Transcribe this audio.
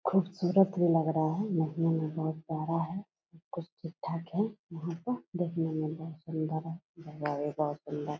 खूबसूरत भी लग रहा है। देखने में बहुत प्यारा है। सब कुछ ठीक-ठाक है यहाँ पर। देखने में बहुत सूंदर है। जगह भी बहुत सुन्दर है।